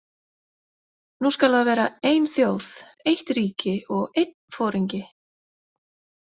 Nú skal það vera ein þjóð, eitt ríki og einn foringi!